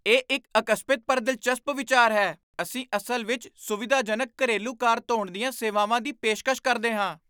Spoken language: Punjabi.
ਇਹ ਇੱਕ ਅਕਸਪਿਤ ਪਰ ਦਿਲਚਸਪ ਵਿਚਾਰ ਹੈ! ਅਸੀਂ ਅਸਲ ਵਿੱਚ ਸੁਵਿਧਾਜਨਕ ਘਰੇਲੂ ਕਾਰ ਧੋਣ ਦੀਆਂ ਸੇਵਾਵਾਂ ਦੀ ਪੇਸ਼ਕਸ਼ ਕਰਦੇ ਹਾਂ।